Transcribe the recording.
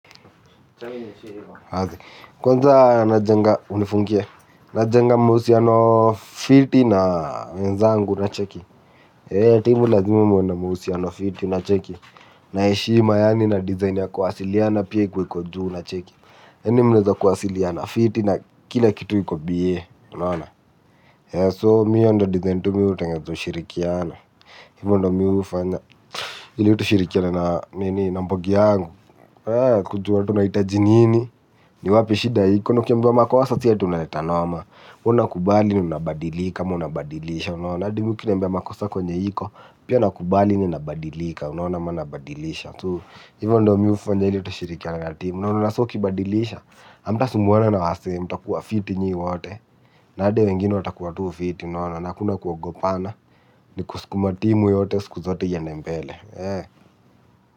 Kwanza najenga unifungie. Najenga mahusiano fiti na wenzangu unacheki. Timu lazima muwenda muusiano fiti na cheki. Na eshima yaani na design ya kuwasiliana pie kuwe kujuu na cheki. Eni mwenda kuwasiliana fiti na kila kitu yiko biye. Unaona? So miu ndo design tu miu ndo ushirikiana. Ivo ndo miu ufanya. Ili tushirikiane na mbogi yangu. Kujua tu naitaji nini. Na wapi shida iko na kuambiwa makosa si ati unaleta norma. Una kubali ni unabadilika ma unabadilisha. Unaona adi mbewa makosako nye hiko. Pia nakubali ni unabadilika. Unaona ma unabadilisha. Tu hivyo ndo miufo nye li tushirikia na na timu. Unaona so kibadilisha amta sumbuwwana na wasi mta kuwa fiti nyi wote. Na adi wengine watakuwa tu fiti. Unaona nakuna kuogopana. Ni kuskuma timu yote siku zote yende mbele eh.